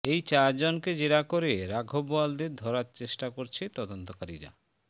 এই চারজনকে জেরা করে রাঘব বোয়ালদের ধরার চেষ্টা করছে তদন্তকারীরা